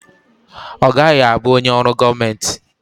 Ọ gaghị abụ onye ọrụ gọọmenti.